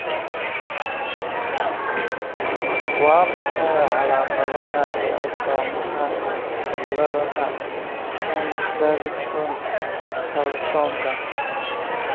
Waa maxay calaamadaha iyo astaamaha cillada Chang Davidson Carlsonka?